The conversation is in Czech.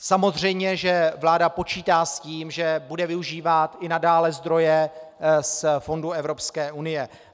Samozřejmě že vláda počítá s tím, že bude využívat i nadále zdroje z fondů Evropské unie.